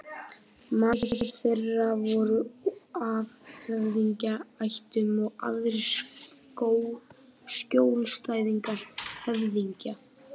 Margir þeirra voru af höfðingjaættum og aðrir skjólstæðingar höfðingja.